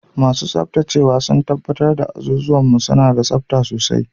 Masu tsabtacewa sun tabbatar da azuzuwan mu suna da tsabta sosai.